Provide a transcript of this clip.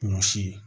Ɲɔ si